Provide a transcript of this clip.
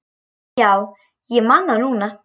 Já, ég man það núna.